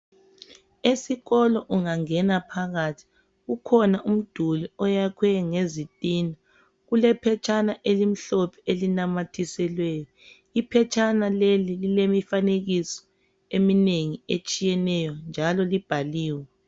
Esikolo ungangena phakathi kukhona umduli oyakhwe ngezitina, kulephetshana elimhlophe elinamathiselweyo. Iphetshana leli lilemifanekiso eminengi etshiyeneyo njalo libhaliwe.